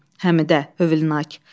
Həmidə hövlnak.